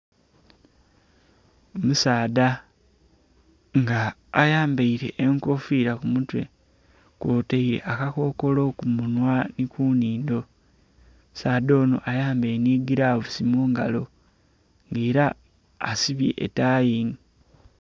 Omusadha nga ayambaire enkofiira ku mutwe kwotaire akakokolo kumunwa nhi kunhindo, omusadha ono ayambaire nhi gilavusi mungalo nga era asibye etaayi